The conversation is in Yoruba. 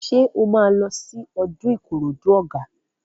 Ṣé o máa lọ sí ọdún Ìkòròdú Ọ̀gá?